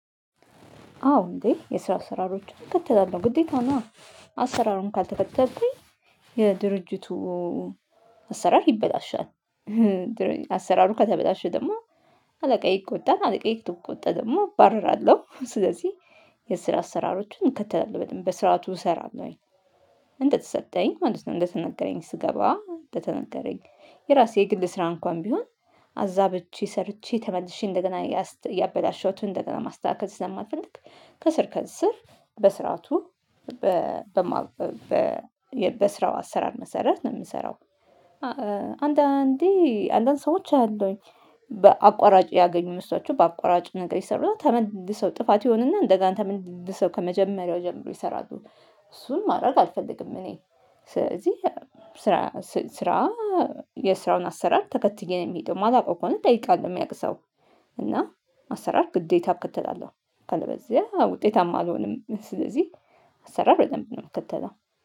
አዎ እንዴ የስራ አሰራሮችን እከተላለሁ። ግዴታ ነዋ! አሰራሩን ካልተከተልኩኝ የድርጅቱ አሰራር ይበላሻል። አሰራሩ ከተበላሸ ደግሞ አለቃዬ ይቆጣል። አለቃዬ ከተቆጣ ደግሞ እባረራለሁ። ስለዚህ የስራ አሰራሮችን እከተላለሁ። በደንብ በስርዓቱ እሰራለሁኝ። እንደተሰጠኝ ማለት ነው። እንደተነገረኝ ስገባ በተነገረኝ። የራሴ ግል ስራ እንኳን ቢሆን አዛብቼ ሰርቼ ተመልሼ እንደገና ያበላሸሁትን እንደገና ማስተካከል ስለማልፈልግ ከስር ከስር በስርዓቱ በማውቀው በስራው አሰራር መሰረት ነው የምሰራው። አንዳንዴ አንዳንድ ሰዎች አያለሁኝ። በአቋራጭ ያገኙ መስሏቸው በአቋራጭ ነገር ይሰሩና ተመልሰው ጥፋት ይሆንና እንደገና ተመልሰው ከመጀመሪያው ጀምረው ይሰራሉ። እሱን ማድረግ አልፈልግም እኔ። ስለዚህ ስራ ስራ የስራውን አሰራር ተከትዬ ነው የሚሄደው ማላውቀው ከሆነ እጠይቃለሁ የሚያውቅ ሰው። እና አሰራር ግዴታ እከተላለሁ። ካለበለዚያ ውጤታማ አልሆንም። ስለዚህ አሰራር በደንብ ነው የምከተለው።